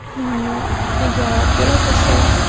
я первый-то секс